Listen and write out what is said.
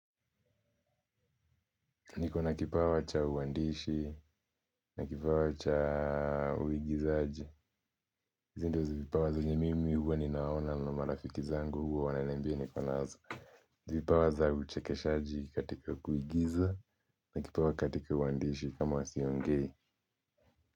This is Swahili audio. Niko na kipawa cha uwandishi, na kipawa cha uigizaji hizi ndio vipawa zenye mimi huwa ninaona na marafiki zangu huwa wananiambia niko nazo vipawa za uchekeshaji katika uigiza na kipawa katika uwandishi kama huwa siongei.